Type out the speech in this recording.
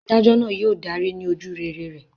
Adájọ́ náà yóò darí ní ojúrere rẹ̀.